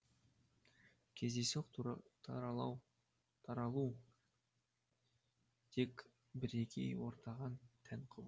кездейсоқ таралу тек бірегей ортаға тән құбылыс